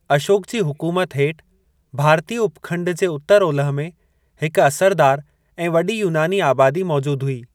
अशोक जी हुकुमत हेठ भारतीय उपखंड जे उत्तर- ओलह में हिक असरदार ऐं वॾी यूनानी आबादी मौजूद हुई।